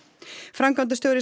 framkvæmdastjóri